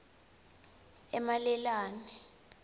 emalelane